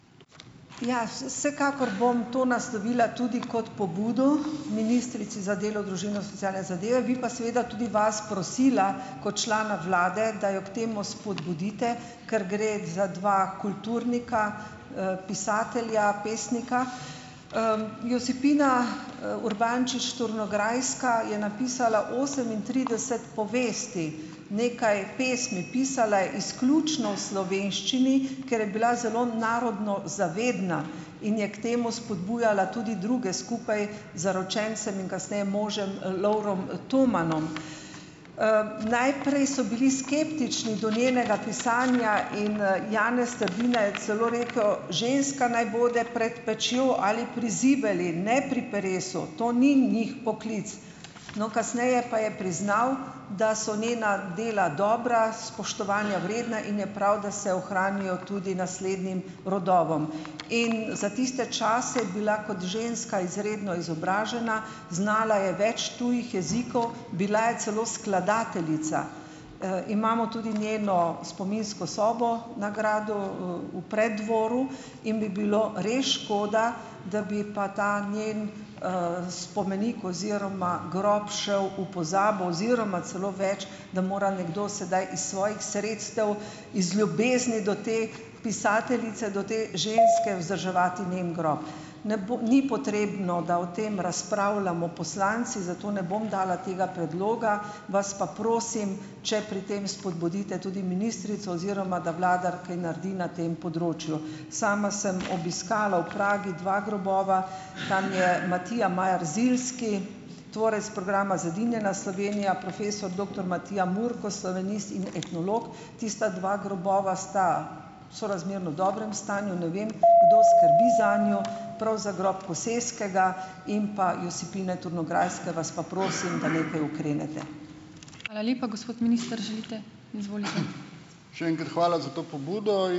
Ja, vsekakor bom to naslovila tudi kot pobudo ministrici za delo, družino, socialne zadeve, bi pa seveda tudi vas prosila, kot člana vlade, da jo k temu spodbudite, ker gre za dva kulturnika, pisatelja, pesnika. Josipina Urbančič - Turnograjska je napisala osemintrideset povesti, nekaj pesmi. Pisala izključno v slovenščini, ker je bila zelo narodno zavedna in je k temu spodbujala tudi druge, skupaj zaročencem in kasneje možem, Lovrom Tomanom. Najprej so bili skeptični do njenega pisanja in Janez Trdina je celo rekel: "Ženska naj bo prej pečjo ali pri zibeli, ne pri peresu. To ni njih poklic." No, kasneje pa je priznal, da so njena dela dobra, spoštovanja vredna in je prav, da se ohranijo tudi naslednjim rodovom. In za tiste čase je bila kot ženska izredno izobražena, znala je več tujih jezikov, bila je celo skladateljica. Imamo tudi njeno spominsko sobo na gradu v Preddvoru in bi bilo re škoda, da bi pa ta njen spomenik oziroma grob šel v pozabo oziroma celo več, da mora nekdo sedaj iz svojih sredstev, iz ljubezni do te pisateljice, do te ženske, vzdrževati njen grob. Ne ni potrebno, da o tem razpravljamo poslanci, zato ne bom dala tega predloga, vas pa prosim, če pri tem spodbudite tudi ministrico oziroma da vlada kaj naredi na tem področju. Sama sem obiskala v Pragi dva grobova. Tam je Matija Majar Ziljski, tvorec programa Zedinjena Slovenija, profesor doktor Matija Murko, slovenist in etnolog. Tista dva grobova sta sorazmerno dobrem stanju, ne vem, kdo skrbi zanju, prav za grob Koseskega in pa Josipine Turnograjske vas pa prosim, da nekaj ukrenete.